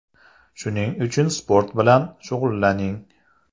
Shuning uchun sport bilan shug‘ullaning!